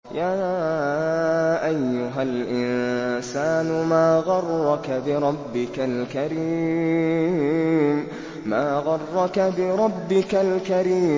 يَا أَيُّهَا الْإِنسَانُ مَا غَرَّكَ بِرَبِّكَ الْكَرِيمِ